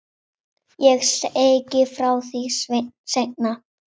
Ég segi frá því seinna.